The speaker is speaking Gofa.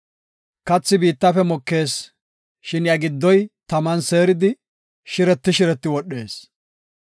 Kathi biittafe mokees; shin iya giddoy taman seeridi, shireti shireti wodhees.